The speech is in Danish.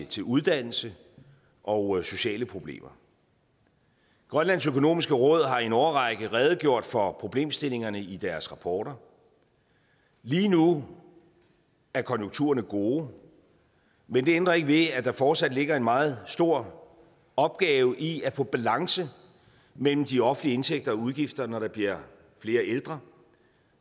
til uddannelse og sociale problemer grønlands økonomiske råd har i en årrække redegjort for problemstillingerne i deres rapporter lige nu er konjunkturerne gode men det ændrer ikke ved at der fortsat ligger en meget stor opgave i at få balance mellem de offentlige indtægter og udgifter når der bliver flere ældre